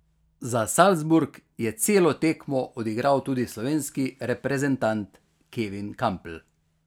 Za Salzburg je celo tekmo odigral tudi slovenski reprezentant Kevin Kampl.